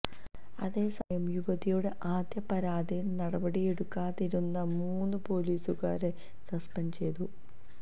അതേസമയം യുവതിയുടെ ആദ്യ പരാതിയില് നപടിയെടുക്കാതിരുന്ന മൂന്ന് പൊലീസുകാരെ സസ്പെന്ഡ് ചെയ്തു